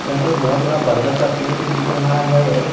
यहां पे एक बहोत बड़ा बरगद का पेड़ भी दिख रहा है।